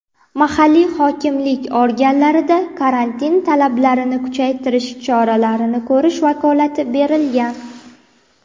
mahalliy hokimlik organlariga karantin talablarini kuchaytirish choralarini ko‘rish vakolati berilgan.